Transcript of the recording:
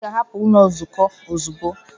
Ị ga-ahapụ ụlọ nzukọ ozugbo!